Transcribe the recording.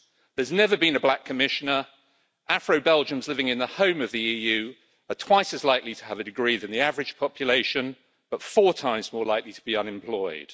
There has never been a black Commissioner, Afro-Belgians living in the home of the EU are twice as likely to have a degree than the average population but four times more likely to be unemployed.